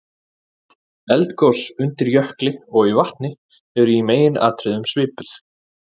Eldgos undir jökli og í vatni eru í meginatriðum svipuð.